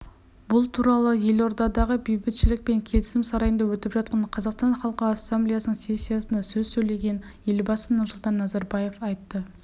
бұл туралы елордадағы бейбітшілік пен келісім сарайында өтіп жатқан қазақстан халқы ассамблеясының сессиясында сөз сөйлеген елбасы нұрсұлтан назарбаев айтты